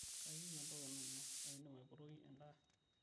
kayieu entoki nanya, ekindim aipotoki endaa